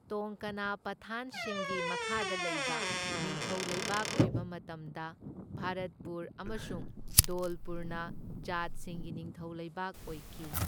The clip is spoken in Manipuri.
ꯇꯣꯡꯀꯅꯥ ꯄꯊꯥꯟꯁꯤꯡꯒꯤ ꯃꯈꯥꯗ ꯂꯩꯕ ꯅꯤꯡꯊꯧ ꯂꯩꯕꯥꯛ ꯑꯣꯏꯕ ꯃꯇꯝꯗ ꯚꯥꯔꯠꯄꯨꯔ ꯑꯃꯁꯨꯡ ꯙꯣꯜꯄꯨꯔꯅ ꯖꯥꯠꯁꯤꯡꯒꯤ ꯅꯤꯡꯊꯧ ꯂꯩꯕꯥꯛ ꯑꯣꯏꯈꯤ꯫